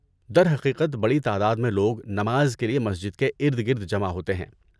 درحقیقت بڑی تعداد میں لوگ نماز کے لیے مسجد کے ارد گرد جمع ہوتے ہیں۔